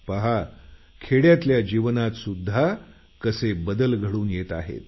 पहा खेड्यातल्या जीवनातसुद्धा कसे बदल घडून येत आहेत